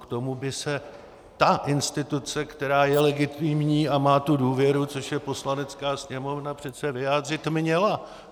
K tomu by se ta instituce, která je legitimní a má tu důvěru, což je Poslanecká sněmovna, přece vyjádřit měla.